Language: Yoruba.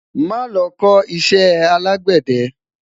má lo kò iṣẹ alegbede